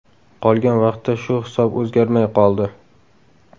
Qolgan vaqtda shu hisob o‘zgarmay qoldi.